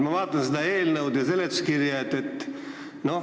Ma vaatan seda eelnõu ja seletuskirja.